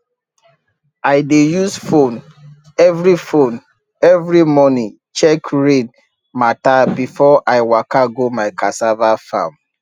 i dey use phone every phone every morning check rain matter before i waka go my cassava farm